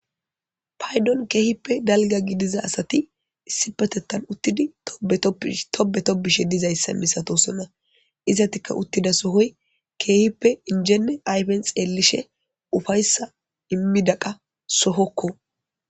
Paydon keehippe dalga gidiza asati issi petettan uttidi tobe topbishe dizayssa misatosona izatika uttida sohoy keehippe injene aypen xeellishe ufayssa immida qa sohokko.